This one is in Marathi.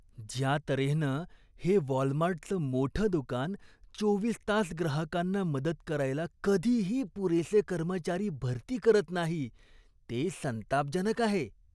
ज्या तऱ्हेनं हे वॉलमार्टचं मोठं दुकान चोवीस तास ग्राहकांना मदत करायला कधीही पुरेसे कर्मचारी भरती करत नाही, ते संतापजनक आहे.